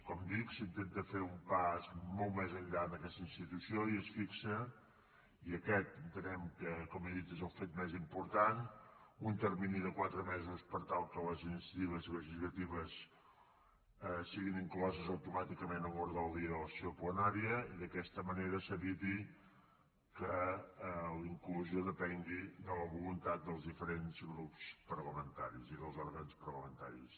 com dic s’intenta fer un pas molt més enllà en aquesta institució i es fixa i aquest entenem que com he dit és el fet més important un termini de quatre mesos per tal que les iniciatives legislatives siguin incloses automàticament en l’ordre del dia de la sessió plenària i d’aquesta manera s’eviti que la inclusió depengui de la voluntat dels diferents grups parlamentaris i dels òrgans parlamentaris